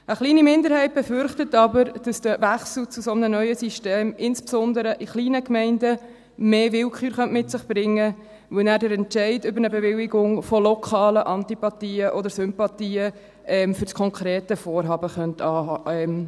Eine kleine Minderheit befürchtet jedoch, dass der Wechsel zu so einem neuen System insbesondere in kleinen Gemeinden mehr Willkür mit sich bringen könnte, weil dann der Entscheid über eine Bewilligung von lokalen Antipathien oder Sympathien für das konkrete Vorhaben abhängen könnte.